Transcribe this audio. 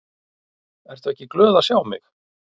Ertu ekki glöð að sjá mig?